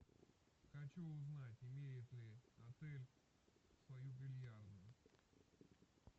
хочу узнать имеет ли отель свою бильярдную